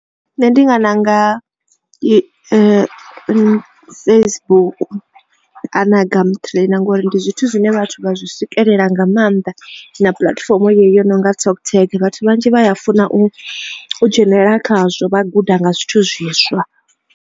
Nṋe ndi nga ṋanga Facebook na gum trainer na ngori ndi zwithu zwine vhathu vha zwi swikelela nga maanḓa na puḽatifomo yeneyo yo nonga TalkTag vhathu vhanzhi vha ya funa u dzhenelela khazwo vha guda nga zwithu zwiswa.